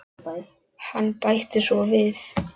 Hann bætti svo við